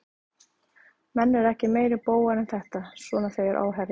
Menn eru ekki meiri bógar en þetta, svona þegar á herðir.